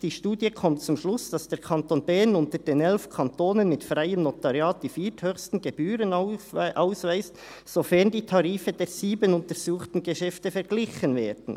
Die Studie kommt zum Schluss, dass der Kanton Bern unter den elf Kantonen mit freiem Notariat die vierthöchsten Gebühren aufweist, sofern die Tarife der sieben untersuchten Geschäfte verglichen werden.